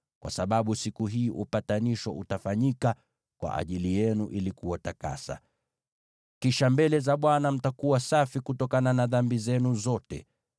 kwa sababu siku hii upatanisho utafanyika kwa ajili yenu ili kuwatakasa. Kisha mtakuwa safi mbele za Bwana kutokana na dhambi zenu zote.